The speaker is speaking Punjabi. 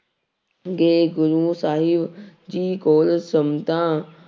ਗਏ ਗੁਰੂ ਸਾਹਿਬ ਜੀ ਕੋਲ ਸੰਮਦਾਂ